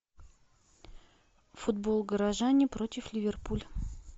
футбол горожане против ливерпуль